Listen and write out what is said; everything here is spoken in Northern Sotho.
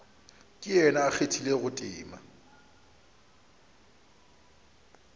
ke yena a kgathilego tema